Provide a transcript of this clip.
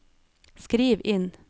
skriv inn